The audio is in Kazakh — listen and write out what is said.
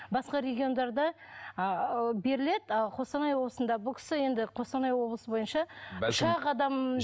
басқа региондарда ы беріледі а қостанай облысында бұл кісі енді қостанай облысы бойынша үш ақ адам